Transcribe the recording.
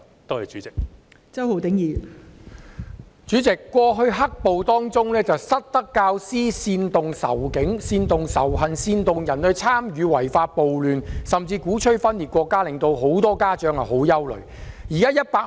代理主席，早前"黑暴"期間，有失德教師煽動仇警及仇恨情緒，煽動他人參與違法暴亂，甚至鼓吹分裂國家，以致很多家長十分憂慮。